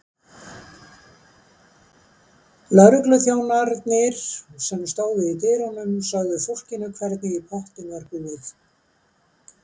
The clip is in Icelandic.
Lögregluþjónarnir sem stóðu í dyrunum sögðu fólkinu hvernig í pottinn var búið.